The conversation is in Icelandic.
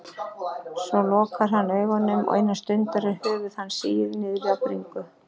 Svo lokar hann augunum og innan stundar er höfuð hans sigið niður á bringu.